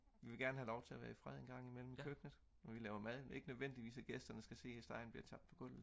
vi vil gerne have lov til at være i fred engang imellem i køkkenet når vi laver mad ikke nødvendigvis at gæsterne skal se når stegen bliver tabt på gulvet